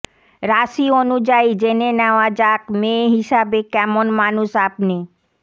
রাশি অনুযায়ী জেনে নেওয়া যাক মেয়ে হিসেবে কেমন মানুষ আপনি